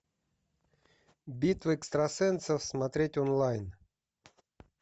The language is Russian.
битва экстрасенсов смотреть онлайн